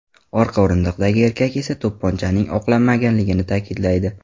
Orqa o‘rindiqdagi erkak esa to‘pponchaning o‘qlanmaganini ta’kidlaydi.